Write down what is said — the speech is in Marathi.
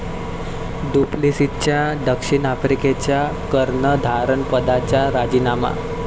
डुप्लेसिसचा दक्षिण आफ्रिकेच्या कर्णधारपदाचा राजीनामा